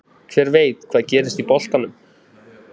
Hver veit hvað gerist í boltanum?